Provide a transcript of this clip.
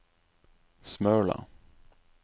Smøla